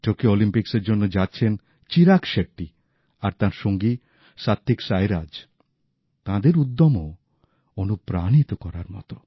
Tokyo অলিম্পিকের জন্য যাচ্ছেন যে চিরাগ শেট্টি আর তাঁর সঙ্গী সাত্ত্বিক সাইরাজ তাঁদের উদ্যমও অনুপ্রাণিত করার মত